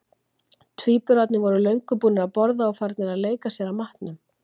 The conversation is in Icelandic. Tvíburarnir voru löngu búnir að borða og farnir að leika sér að matnum.